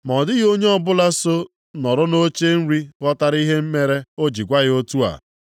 Ma ọ dịghị onye ọbụla so nọrọ nʼoche nri ghọtara ihe mere o ji gwa ya otu a.